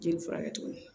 Jeli furakɛ tuguni